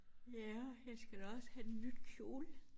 Ja jeg skal da også have en ny kjole